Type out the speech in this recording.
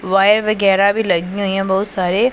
Wire वगैरा भी लगी हुई हैं बहोत सारे।